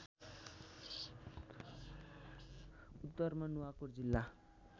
उत्तरमा नुवाकोट जिल्ला